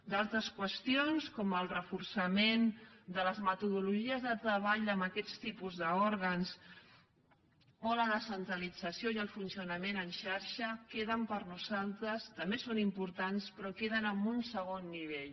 d’altres qüestions com el reforçament de les metodologies de treball en aquests tipus d’òrgans o la descentralització i el funcionament en xarxa per nosaltres també són importants però queden en un segon nivell